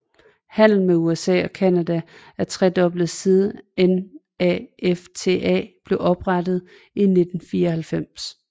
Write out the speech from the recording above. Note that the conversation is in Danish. Handlen med USA og Canada er tredoblet siden NAFTA blev oprettet i 1994